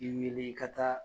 I wele i ka taa